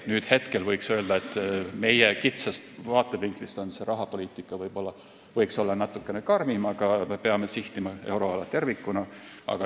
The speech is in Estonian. Nüüd võiks öelda, et meie kitsast vaatevinklist võiks rahapoliitika olla natukene karmim, aga me peame sihtima euroala tervikuna.